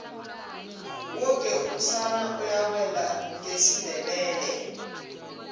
woke umsana uyawela ngesindebele